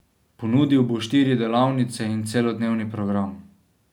Ponudil bo štiri delavnice in celodnevni program.